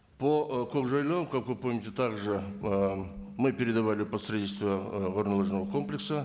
по ы кокжайлау как вы помните так же ы мы передовали посредничество ы горнолыжного комплекса